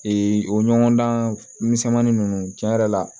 o ɲɔgɔndan misɛnmannin nunnu cɛn yɛrɛ la